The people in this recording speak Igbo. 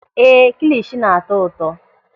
Éè, kilishi na-atọ ụtọ.